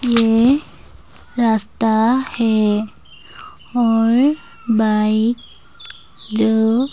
ये रास्ता है और बाइक ज --